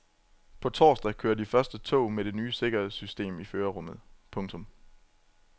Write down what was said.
På torsdag kører de første tog med det nye sikkerhedssystem i førerrummet. punktum